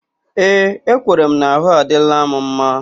Ee, ekwere m na ahụ adịla m mma